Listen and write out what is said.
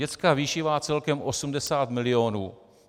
Dětská výživa celkem 80 milionů.